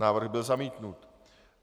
Návrh byl zamítnut.